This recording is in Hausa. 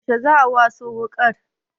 Yaushe za'a waso wuƙar?